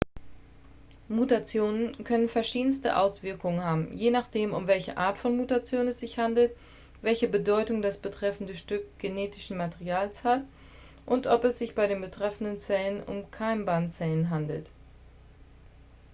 mutationen können verschiedenste auswirkungen haben je nachdem um welche art von mutation es sich handelt welche bedeutung das betreffende stück genetischen materials hat und ob es sich bei den betreffenden zellen um keimbahnzellen handelt